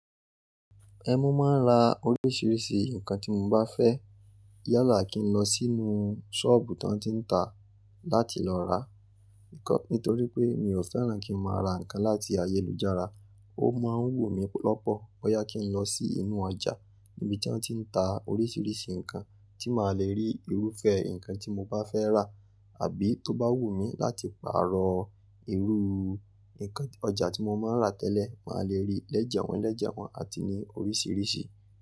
Ẹn mo máa ń ra oríṣiríṣi nǹkan tí mo bá fẹ́. Yalá kí n lọ sínú sọ́ọ̀bù tán tí n ta láti lọ ra nǹkan. Nítorí pé mi ò fẹ́ràn kí n máa ra nǹkan láti ayélujára. Ó máa ń wù mí lọ́pọ̀. Boyá kí n lọ sí inú ọjà níbi tí wọ́n ti ń ta oríṣiríṣi nǹkan tí màá le rí irúfẹ́ nǹkan tí mo bá fẹ́ rà àbí tó bá wù mí láti pààrọ̀ irú nǹkan ọjà tí mo máa ń rà tẹ́lẹ̀, màá le rí lẹ́jẹ̀wọ̀n lẹ́jẹ̀wọ̀n àti ní oríṣiríṣi.